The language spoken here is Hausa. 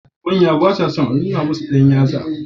Manya ba sa son a nuna musu dan yatsala.